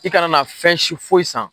I kana na fɛnsi fosi san